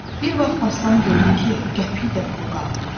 Bir vaxt Aslan gördü ki, qəpik də pulu qalmayıb.